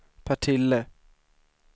Partille